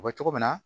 O bɛ cogo min na